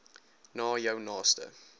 na jou naaste